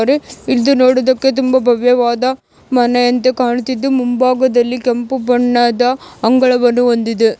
ಇದು ನೋಡೋದಿಕ್ಕೆ ತುಂಬಾ ಭವ್ಯವಾದ ಮನೆ ಅಂತೆ ಕಾಣುತಿತ್ತು ಮುಂಬಾಗದಲ್ಲಿ ಕೆಂಪು ಬಣ್ಣದ ಅಂಗಳವನ್ನು ಹೊಂದಿದೆ.